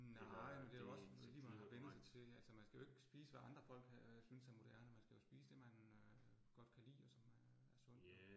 Nej men det jo også lige hvad man har vænnet sig til altså. Man skal jo ikke spise, hvad andre folk øh synes er moderne, man skal jo spise, det man øh godt kan lide, og som øh er sundt og